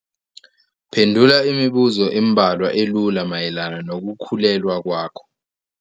Phendula imibuzo embalwa elula mayelana nokukhulelwa kwakho.